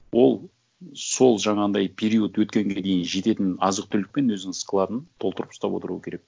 ол сол жаңағындай период өткенге дейін жететін азық түлікпен өзінің складын толтырып ұстап отыруы керек